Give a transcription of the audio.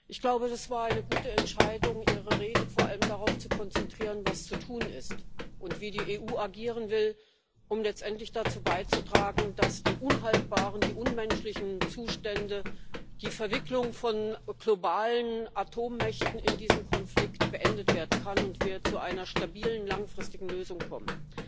Ich glaube, es war eine gute Entscheidung, Ihre Rede vor allem darauf zu konzentrieren, was zu tun ist und wie die EU agieren will, um letztendlich dazu beizutragen, dass die unhaltbaren, unmenschlichen Zustände und die Verwicklung von globalen Atommächten in diesen Konflikt beendet werden können und wir zu einer stabilen langfristigen Lösung kommen.